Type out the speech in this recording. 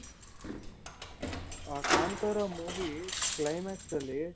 ಆ Kantara movie climax ಅಲ್ಲಿ